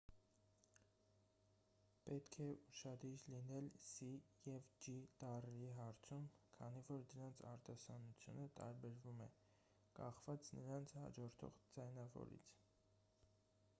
պետք է ուշադիր լինել սի և ջի տառերի հարցում քանի որ դրանց արտասանությունը տարբերվում է կախված նրանց հաջորդող ձայնավորից